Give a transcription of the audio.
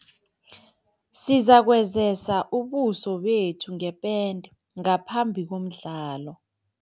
Sizakwezesa ubuso bethu ngepente ngaphambi komdlalo.